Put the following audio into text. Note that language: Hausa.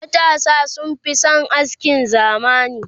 matasa sun Fi San askin zamani